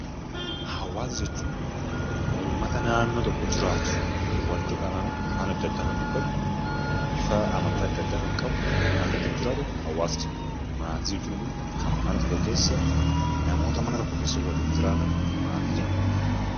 Hawaasa jechuun ummata naannoo tokko jiraatu, walitti qabamee afaan adda addaa kan dubbatu, bifa amantaa adda addaa kan qabu, kan naannoo tokko jiraatu hawaasa jenna. Maatii jechuun immoo kan mana tokko keessa namoota mana tokko keessa waliin jiraatan maatii jennee waamna.